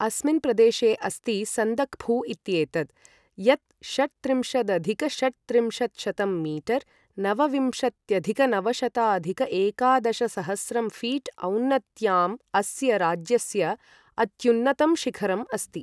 अस्मिन् प्रदेशे अस्ति सन्दक्फू इत्येतत्, यत् षट्त्रिंशदधिक षट्त्रिंशत्शतं मीटर् नवविंशत्यधिक नवशताधिक एकादशसहस्रं फीट् औन्नत्याम् अस्य राज्यस्य अत्युन्नतं शिखरम् अस्ति।